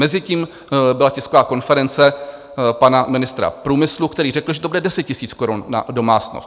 Mezitím byla tisková konference pana ministra průmyslu, který řekl, že to bude 10 000 korun na domácnost.